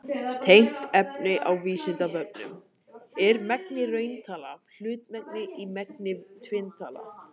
Tengt efni á Vísindavefnum: Er mengi rauntalna hlutmengi í mengi tvinntalna?